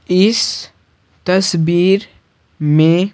इस तस्वीर में--